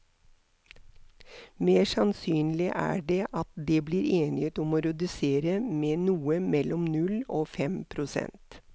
Mer sannsynlig er det at det blir enighet om å redusere med noe mellom null og fem prosent.